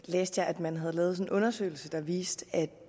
læste jeg at man har lavet en undersøgelse der viste at